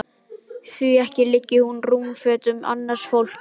Því ekki liggi hún í rúmfötum annars fólks.